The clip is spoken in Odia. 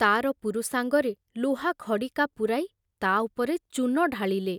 ତାର ପୁରୁଷାଙ୍ଗରେ ଲୁହା ଖଡ଼ିକା ପୂରାଇ ତା ଉପରେ ଚୂନ ଢାଳିଲେ।